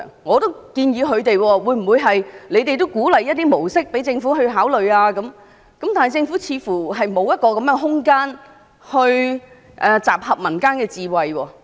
我建議他們向政府提出一些模式，以便政府考慮，但政府似乎沒有這樣的空間來集合民間智慧。